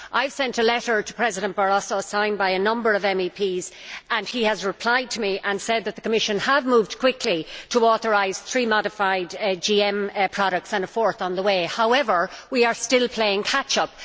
I sent a letter to President Barroso signed by a number of MEPs and he replied that the Commission have moved quickly to authorise three modified GM products, and a fourth on the way. However, we are still playing catch up.